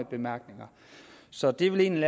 bemærkninger så det er vel egentlig